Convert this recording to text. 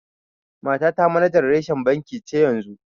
Matata manajan reshen banki ce yanzu.